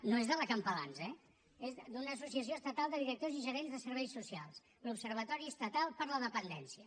no és de la campalans eh és d’una associació estatal de directors i gerents de serveis socials l’observatori estatal per a la dependència